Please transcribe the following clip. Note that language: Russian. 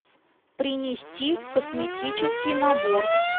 принести косметический набор